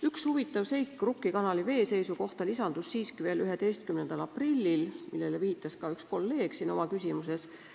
Üks huvitav seik Rukki kanali veeseisu kohta lisandus siiski veel 11. aprillil – sellele viitas ka üks kolleeg oma küsimuses.